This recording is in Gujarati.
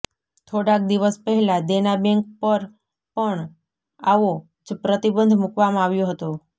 થોડાક દિવસ પહેલા દેના બેંક પર પણ આવો જ પ્રતિબંધ મુકવામાં આવ્યો હતો